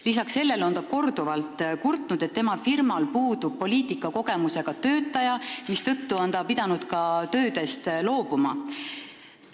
Lisaks sellele on ta korduvalt kurtnud, et tema firmas puudub poliitikakogemusega töötaja, mistõttu on ta pidanud ka töödest loobuma.